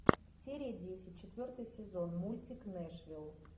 серия десять четвертый сезон мультик нэшвилл